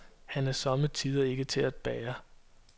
Han er somme tider ikke til at bære.